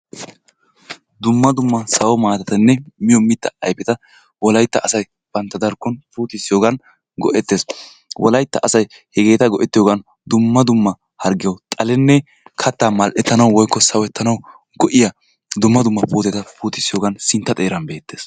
Dumma dumma sawo maatatanne miyo mittaa ayifeta wolayitta asay bantta darkkon puutissiyoogan go"ettes. Wolayitta asay hegeeta go'ettiyoogan dumma dumma hargiyawu xalenne kattaa mal"ettanwu woyikko sawettanawu go"iyaa dumma dumma puuteta puutissiyogan sintta xeeran beettees.